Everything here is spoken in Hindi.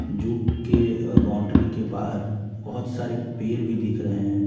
जू के बाउंड्री के बाहर बहुत सारे पेर भी दिख रहे हैं।